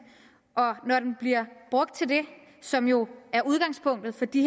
når den bliver brugt til det som jo er udgangspunktet for de